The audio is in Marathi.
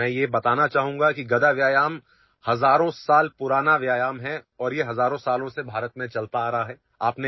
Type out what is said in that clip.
मी तुम्हांला हे सांगू इच्छितो की गदा व्यायाम हा हजारो वर्ष प्राचीन व्यायाम प्रकार आहे आणि भारतात गेल्या हजारो वर्षांपासून तो केला जात आहे